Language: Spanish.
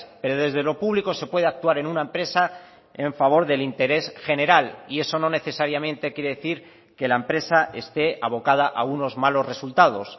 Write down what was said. pero desde lo público se puede actuar en una empresa en favor del interés general y eso no necesariamente quiere decir que la empresa esté abocada a unos malos resultados